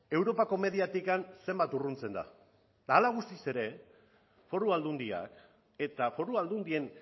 europako mediatik zenbat urruntzen da eta hala eta guztiz ere foru aldundiak eta foru aldundien